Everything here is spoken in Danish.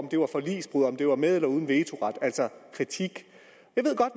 at det var forligsbrud om det var med eller uden vetoret altså kritik